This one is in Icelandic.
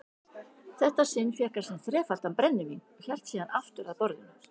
þetta sinn fékk hann sér þrefaldan brennivín og hélt síðan aftur að borðinu.